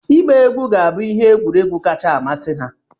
Ịgba egwu ga-abụ ihe egwuregwu kacha amasị ha.